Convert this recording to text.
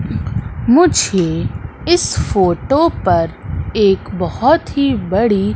मुझे इस फोटो पर एक बहोत ही बड़ी--